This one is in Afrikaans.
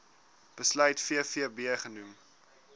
besluit vvb genoem